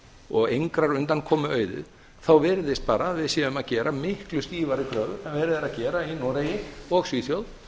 og engrar undankomu auðið þá virðist bara að við séum að gera miklu stífari kröfur en verið er að gera í noregi og svíþjóð